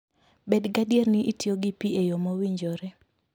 Bed gadier ni itiyo gi pi e yo mowinjore